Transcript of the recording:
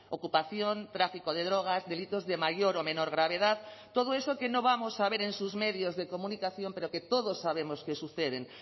ocupación tráfico de drogas delitos de mayor o menor gravedad todo eso que no vamos a ver en sus medios de comunicación pero que todos sabemos que suceden